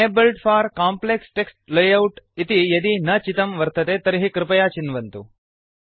enabled for complex text layout इति यदि न चितं वर्तते तर्हि कृपया चिन्वन्तु